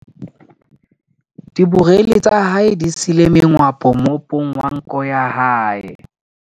Diborele tsa hae di siile mengwapo moopong wa nko ya hae.